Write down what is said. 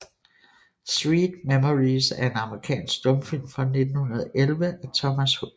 Sweet Memories er en amerikansk stumfilm fra 1911 af Thomas H